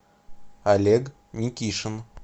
олег никишин